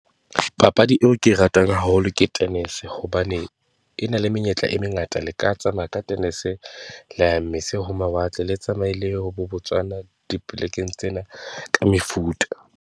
Papadi eo ke e ratang haholo ke tennis hobane e na le menyetla e mengata, le ka tsamaya ka tennis-e, la ya mose ho mawatle, le tsamaye le ye ho bo Botswana dipolekeng tsena ka mefuta.